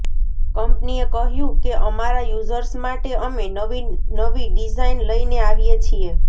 કંપનીએ કહ્યું કે અમારા યૂઝર્સ માટે અમે નવી નવી ડિઝાઇન લઈને આવીએ છીએ